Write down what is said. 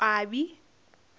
boqwabi